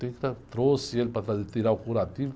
Tem que estar, trouxe ele para fazer, tirar o curativo.